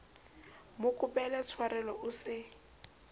mo kopela tshwarelo o se